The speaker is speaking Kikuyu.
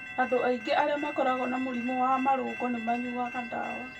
Andũ aingĩ arĩa makoragwo na mũrimũ wa marũngo nĩmanyuaga ndawa